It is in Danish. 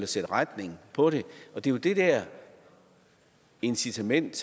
sætte retning på det og det er jo det der incitament